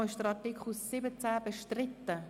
Ist Artikel 17 bestritten?